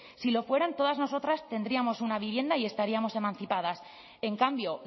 si lo fueran todas nosotras tendríamos una vivienda y estaríamos emancipadas en cambio